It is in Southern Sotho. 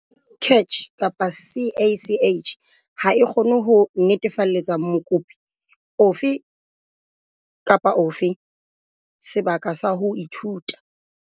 CACH ha e kgone ho netefalletsa mokopi ofe kapa ofe sebaka sa ho ithuta.